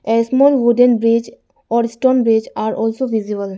a small wooden bridge or stone bridge are also visible.